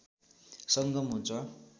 संगम हुन्छ